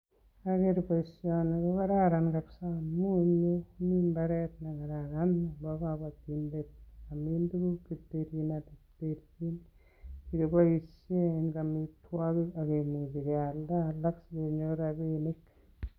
Ndoger boisioni ko kararan kabisa amun ole mi mbaret ne kararan nebo kobotindet komin tuguk che terchin ak che terchin ngeboisien en amitwogik ak kemuchi kealda alak asikenyor rabinik.